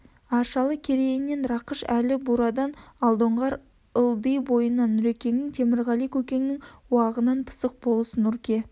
аршалы керейінен рақыш әлі бурадан алдоңғар ылди бойынан нұрекенің темірғали көкеннің уағынан пысық болыс нұрке